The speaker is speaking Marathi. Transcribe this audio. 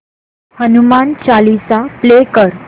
हनुमान चालीसा प्ले कर